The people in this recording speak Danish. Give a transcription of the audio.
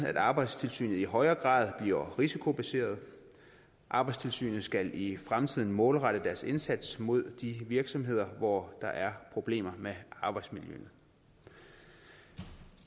at arbejdstilsynet i højere grad bliver risikobaseret arbejdstilsynet skal i fremtiden målrette deres indsats mod de virksomheder hvor der er problemer med arbejdsmiljøet